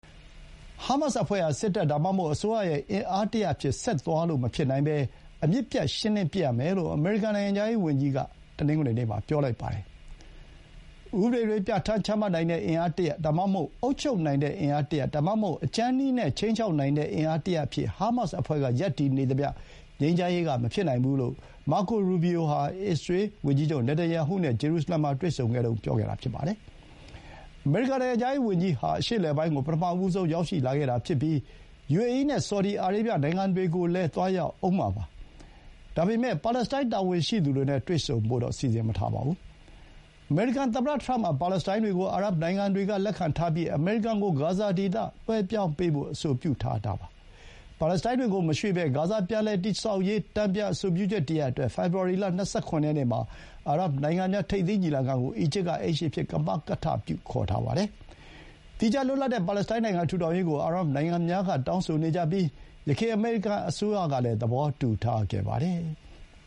ဟားမတ်စ်အဖွဲ့ဟာ စစ်တပ် ဒါမှမဟုတ် အစိုးရရဲ့ အင်အားတရပ်အဖြစ် ဆက်သွားလို့မဖြစ်နိုင်ဘဲ အမြစ်ပြတ် ရှင်းလင်းပစ်ရမယ်လို့ အမေရိကန် နိုင်ငံခြားရေးဝန်ကြီးက တနင်္ဂနွေနေ့မှာ ပြောလိုက်ပါတယ်။ ဥပဒေတွေ ပြဌာန်းချမှတ်နိုင်တဲ့ အင်အားတရပ် ဒါမှမဟုတ် အုပ်ချုပ်နိုင်တဲ့ အင်အားတရပ်၊ ဒါမှမဟုတ် အကြမ်းနည်းနဲ့ ခြိမ်းခြောက်နိုင်တဲ့ အင်အားတရပ်အဖြစ် ဟားမတ်စ်အဖွဲ့က ရပ်တည်နေသမျှ ငြိမ်းချမ်းရေးက မဖြစ်နိုင်ဘူးလို့ အစ္စရေးလ် ဝန်ကြီးချုပ် နေတန်ယာဟုနဲ့ ဂျေရုစလင်မှာ တွေ့ဆုံချိန်အတွင်း Marco Rubio က ပြောခဲ့တာပါ။ အမေရိကန် နိုင်ငံခြားရေးဝန်ကြီးဟာ အရှေ့အလယ်ပိုင်းကို ပထမဆုံး ရောက်ရှိလာတာဖြစ်ပြီး ယူအေအီးနဲ့ ဆော်ဒီအာရေဗျ နိုင်ငံတွေကိုလည်း သွားရောက်ဦးမှာပါ။ ဒါပေမဲ့ ပါလက်စတိုင်း တာဝန်ရှိသူတွေနဲ့ တွေ့ဆုံဖို့တော့ စီစဥ်မထားပါဘူး။ အမေရိကန်သမ္မတ ထရမ့်က ပါလက်စတိုင်းတွေကို အာရပ်နိုင်ငံတွေက လက်ခံထားပြီး အမေရိကန်ကို ဂါဇာဒေသ လွှဲပြောင်းပေးဖို့ အဆိုပြုထားတာပါ။ ပါလက်စတိုင်းတွေကို မရွှေ့ဘဲ ဂါဇာ ပြန်လည်တည်ဆောက်ရေး တန်ပြန် အဆိုပြုချက်တရပ်အတွက် ဖေဖော်ဝါရီလ ၂၇ ရက်နေ့မှာ အာရပ်နိုင်ငံများ ထိပ်သီးညီလာခံကို အီဂျစ်က အိမ်ရှင်အဖြစ် ကမကထပြု ခေါ်ထားပါတယ်။ သီးခြား လွတ်လပ်တဲ့ ပါလက်စတိုင်းနိုင်ငံ ထူထောင်ရေးကို အာရပ်နိုင်ငံများက တောင်းဆိုနေကြပြီး ယခင် အမေရိကန်အစိုးရကလည်း သဘောတူထားခဲ့ပါတယ်။